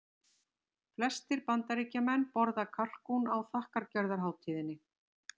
Flestir Bandaríkjamenn borða kalkún á þakkargjörðarhátíðinni.